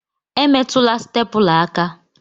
Emetụla stepula aka!